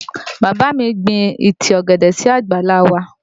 Bàbá mi gbin ìtì ọ̀gẹ̀dẹ̀ sí àgbàlá a wa